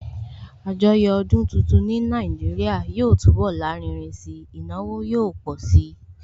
Àjọyọ̀ ọdún tuntun ní Nàìjíríà yóò túnbọ̀ lárinrin si, ìnáwó yóò pọ̀ si